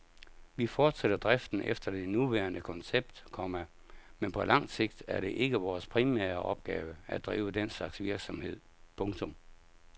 Vi fortsætter driften efter det nuværende koncept, komma men på sigt er det ikke vores primære opgave at drive den slags virksomhed. punktum